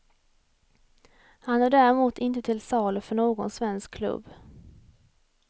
Han är däremot inte till salu för någon svensk klubb.